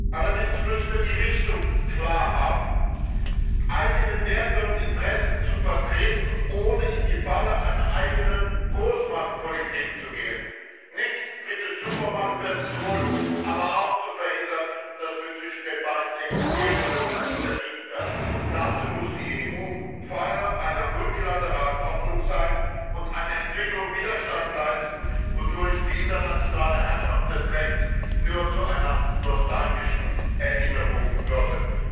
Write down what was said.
Allerdings müssen wir die Richtung klar haben, eigene Werte und Interessen zu vertreten, ohne in die Falle einer eigenen Großmachtpolitik zu gehen, nicht dritte Supermacht werden zu wollen, aber auch zu verhindern, dass wir zwischen den beiden existierenden zerrieben werden. Dazu muss die EU Pfeiler einer multilateralen Ordnung sein und einer Entwicklung Widerstand leisten, wodurch die internationale Herrschaft des Rechts nur zu einer nostalgischen Erinnerung würde.